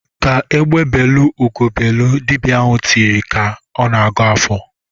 "Ka egbe belụ, ugo ebelu!" Dibịa ahụ tiri ka ọ na-agọ ọfọ.